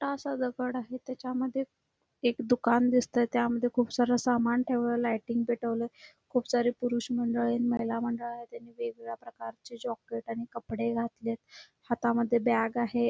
मोठासा दगड आहे त्याच्यामध्ये एक दुकान दिसतंय त्यामध्ये खुप सार सामान ठेवलेलय लायटिंग पेटवलय खूप सारे पुरुष मंडळी महिला मंडळ आहेत त्यांनी वेगवेगळ्या प्रकारचे जॅकेट आणि कपडे घातलेत हातामध्ये बॅग आहे.